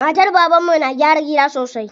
Matar baban mu na gyara gida sosai.